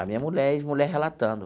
A minha mulher, ex mulher relatando.